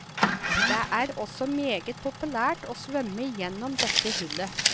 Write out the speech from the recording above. Det er også meget populært å svømme igjennom dette hullet.